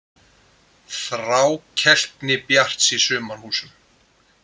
Þrákelkni Bjarts í Sumarhúsum